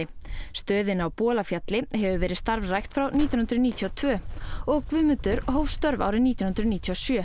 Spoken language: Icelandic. stöðin á Bolafjalli hefur verið starfrækt frá nítján hundruð níutíu og tvö og Guðmundur hóf störf árið nítján hundruð níutíu og sjö